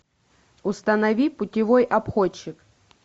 установи путевой обходчик